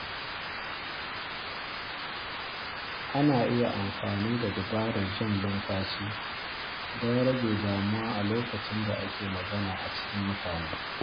Ana iya amfani da dabarar jan numfashi don rage damuwa a lokacin da ake magana a cikin mutane.